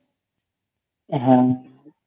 হ্যাঁ